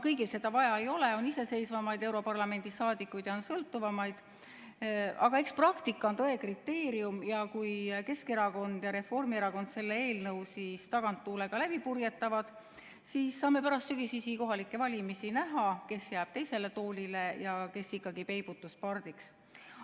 Kõigil seda vaja ei ole, on iseseisvamaid europarlamendi liikmeid ja on sõltuvamaid, aga eks praktika on tõe kriteerium ja kui Keskerakond ja Reformierakond selle eelnõu taganttuulega läbi purjetavad, siis saame pärast sügisesi kohalikke valimisi näha, kes jääb teisele toolile ja kes ikkagi peibutuspardiks.